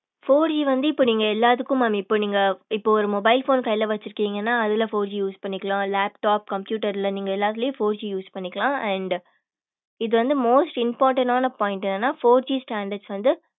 four G வந்து இப்ப நீங்க எல்லாத்துக்கு mam இப்ப நீங்க இப்ப ஒரு mobile phone கையில வச்சிருக்கீங்கன்னா அதுல four G பண்ணிக்கலாம் laptop computer ல நீங்க எல்லாத்துலையும் four G பண்ணிக்கலாம் and இது வந்து most important ஆன point என்னன்னா four G standards வந்து